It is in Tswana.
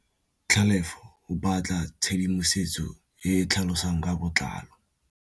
Tlhalefô o batla tshedimosetsô e e tlhalosang ka botlalô.